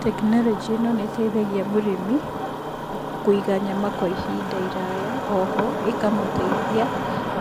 Tekinoronjĩ ĩno nĩ ĩteithagia mũrĩmi kũiga nyama kwa ihinda iraya,o ho ĩkamũteithia